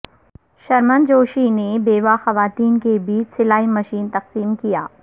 شرمن جوشی نے بیوہ خواتین کے بیچ سلائی مشین تقسیم کیا